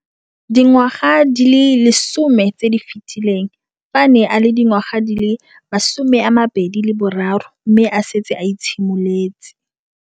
Dingwaga di le 10 tse di fetileng, fa a ne a le dingwaga di le 23 mme a setse a itshimoletse